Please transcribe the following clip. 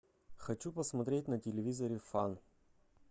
хочу посмотреть на телевизоре фан